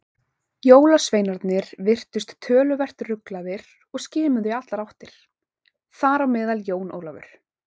Jólasveinarnir virtust töluvert ruglaðir og skimuðu í allar áttir, þar á meðal Jón Ólafur.